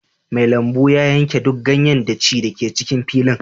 Mai lambu ya yanke duk ganyen daci da ke cikin fili